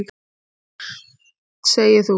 Og hvert segir þú?